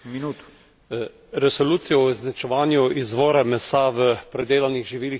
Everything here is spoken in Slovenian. Resolucijo o označevanju izvora mesa v predelanih živilih sem podprl.